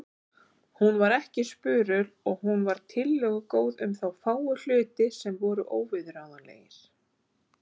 Hún var ekki spurul og hún var tillögugóð um þá fáu hluti sem voru óviðráðanlegir.